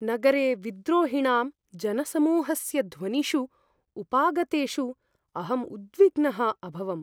नगरे विद्रोहिणां जनसमूहस्य ध्वनिषु उपागतेषु अहम् उद्विग्नः अभवम्।